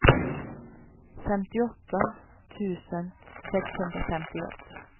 femtioåtta tusen sexhundrafemtioett